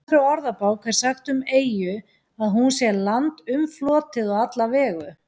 Í Íslenskri orðabók er sagt um eyju að hún sé land umflotið á alla vegu.